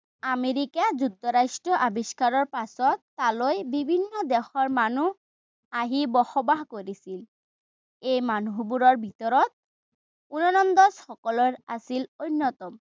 America যুক্তৰাষ্ট্ৰ আৱিষ্কাৰৰ পাছত তালৈ বিভিন্ন দেশৰ মানুহ আহি বসবাস কৰিছিল। এই মানুহবোৰৰ ভিতৰত ওলন্দাজসকল আছিল অন্যতম।